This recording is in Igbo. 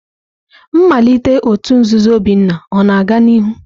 Nmalite òtù nzuzo Obinna ọ na-aga n'ihu?